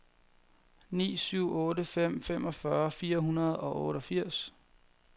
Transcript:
ni syv otte fem femogfyrre fire hundrede og otteogfirs